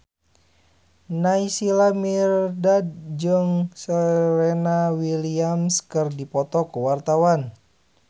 Naysila Mirdad jeung Serena Williams keur dipoto ku wartawan